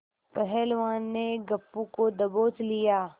पहलवान ने गप्पू को दबोच लिया